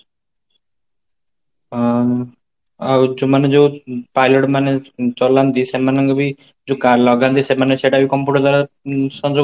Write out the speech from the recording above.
ଆଁ ଆଉ ମାନେ ଯୋଉ pilot ମାନେ ଚଲାନ୍ତି ସେମାନଙ୍କବି ଯୋଉ ଲାଗନ୍ତି ସେମାନେ ସେଇଟାବି computer ଦ୍ଵାରା ସଂଯୋଗ